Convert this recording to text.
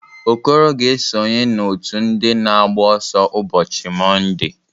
Okoro ga-esonye n'ọ́tụ̀ ndị na agba ọsọ ụbọchị Mọnde.